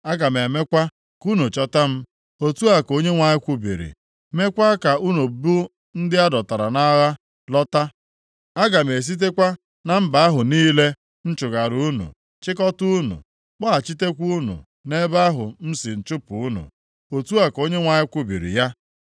Aga m emekwa ka unu chọta m,” otu a ka Onyenwe anyị kwubiri, “meekwa ka unu bụ ndị a dọtara nʼagha lọta. Aga m esitekwa na mba ahụ niile m chụgara unu chịkọtaa unu, kpọghachitekwa unu nʼebe ahụ m si chụpụ unu.” Otu a ka Onyenwe anyị kwubiri ya.